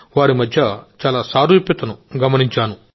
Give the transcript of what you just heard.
వారి మధ్య చాలా సారూప్యతను నేను చూశాను